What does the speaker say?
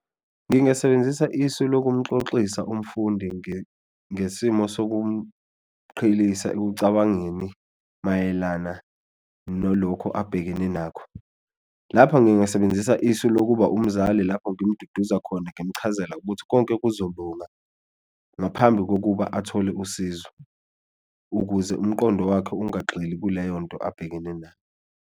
Ngingasebenzisa isu lokumxoxisa umfundi ngesimo sokumqhelisa ekucabangeni mayelana nolokhu abhekene nakho, lapha ngingasebenzisa isu lokuba umzali lapho ngimduduza khona ngimchazela ukuthi konke kuzolunga ngaphambi kokuba athole usizo, ukuze umqondo wakhe ingagxili kuleyonto abhekene nayo.